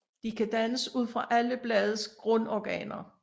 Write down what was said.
De kan dannes ud fra alle bladets grundorganer